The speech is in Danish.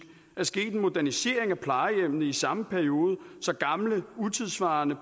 er sket en modernisering af plejehjemmene i den samme periode så gamle utidssvarende